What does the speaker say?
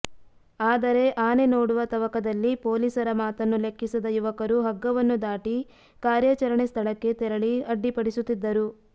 ಆದರೆ ಆನೆ ನೋಡುವ ತವಕದಲ್ಲಿ ಪೊಲೀಸರ ಮಾತನ್ನು ಲೆಕ್ಕಿಸದ ಯುವಕರು ಹಗ್ಗವನ್ನು ದಾಟಿ ಕಾರ್ಯಾಚರಣೆ ಸ್ಥಳಕ್ಕೆ ತೆರಳಿ ಅಡ್ಡಿಪಡಿಸಿಸುತ್ತಿದ್ದರು